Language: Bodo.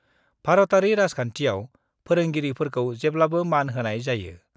भारतयारि राजखान्थियाव फोरोंगिरिफोरखौ जेब्लाबो मान होनाय जायो।